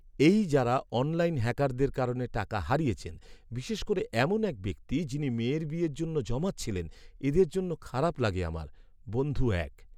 এই যাঁরা অনলাইন হ্যাকারদের কারণে টাকা হারিয়েছেন, বিশেষ করে এমন এক ব্যক্তি যিনি মেয়ের বিয়ের জন্য জমাচ্ছিলেন, এঁদের জন্য খারাপ লাগে আমার। বন্ধু এক